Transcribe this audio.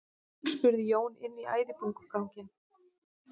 spurði Jón inn í æðibunuganginn.